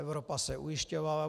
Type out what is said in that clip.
Evropa se ujišťovala.